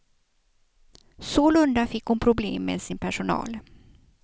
Sålunda fick hon problem med sin personal.